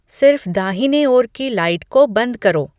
सिर्फ दाहिने ओर की लाइट को बंद करो